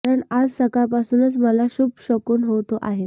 कारण आज सकाळपासूनच मला शुभ शकून होत आहेत